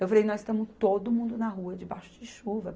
Eu falei, nós estamos todo mundo na rua, debaixo de chuva.